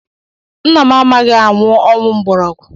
Nnam anaghị anwụ ọgwụ mgborogwu